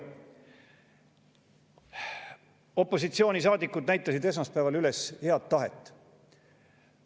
Opositsioonisaadikud näitasid esmaspäeval üles head tahet.